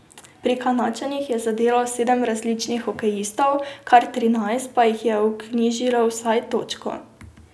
Pri Kanadčanih je zadelo sedem različnih hokejistov, kar trinajst pa jih je vknjižilo vsaj točko.